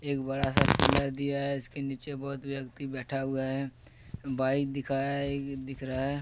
एक बड़ा सा पिलर दिया है इसके नीचे बहुत व्यक्ति बैठा हुआ है बाइक दिखाया दिख रहा है।